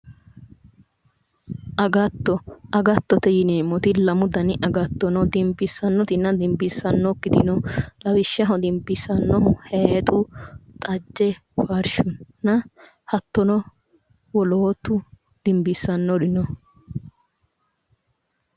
Agattote yineemmoti lamu gari agatto no inssano dinbissannotenna dinbisaakite